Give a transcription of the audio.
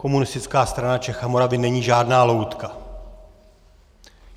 Komunistická strana Čech a Moravy není žádná loutka.